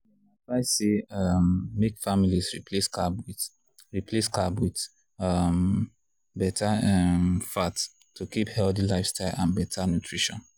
people wey dey watch their health dey advised make dem dey control how much dem dey chop.